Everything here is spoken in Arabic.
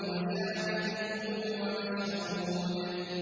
وَشَاهِدٍ وَمَشْهُودٍ